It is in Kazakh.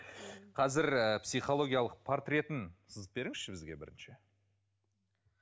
қазір ыыы психологиялық портретін сызып беріңізші бізге бірінші